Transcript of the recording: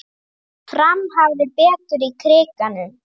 Fram hafði betur í Krikanum